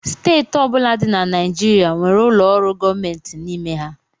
Steeti ọ bụla dị na Naịjirịa nwere ụlọ ọrụ gọọmentị n'ime ha